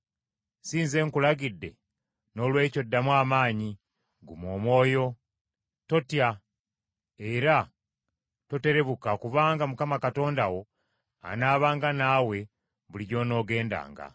Si nze nkulagidde? Noolwekyo ddamu amaanyi, guma omwoyo, totya era toterebuka kubanga Mukama Katonda wo anaabanga naawe buli gy’onoogendanga.”